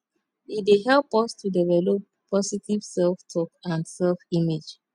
e dey help us to develop positive selftalk and selfimage